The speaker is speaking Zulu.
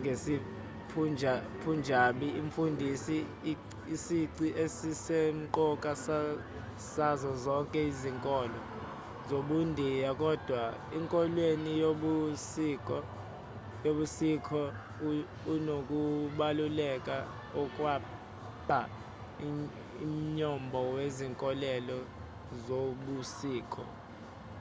ngesipunjabi umfundisi isici esisemqoka sazo zonke izinkolo zobundiya kodwa enkolweni yobusikh unokubaluleka okwakha umnyombo wezinkolelo zobusikh